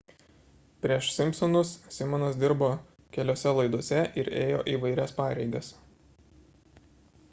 prieš simpsonus simonas dirbo keliose laidose ir ėjo įvairias pareigas